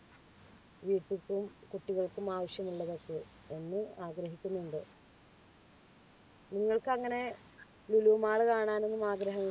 കുട്ടികൾക്കും ആവശ്യമുള്ളവർക്ക് ഒന്ന് ആഗ്രഹിക്കുന്നുണ്ട് നിങ്ങൾക്ക് അങ്ങനെ ലുലു മാൾ കാണാനൊന്നും ആഗ്രഹമ